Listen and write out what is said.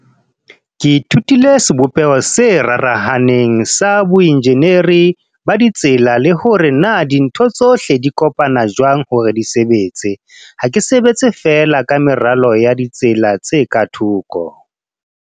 "Ke ithutile sebopeho se rarahaneng sa boenjeneri ba ditsela le hore na dintho tsohle di kopana jwang hore di sebetse. Ha ke sebetse fee la ka meralo ya ditsela tse ka thoko."